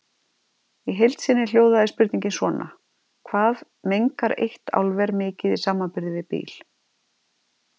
Í heild sinni hljóðaði spurningin svona: Hvað mengar eitt álver mikið í samanburði við bíl.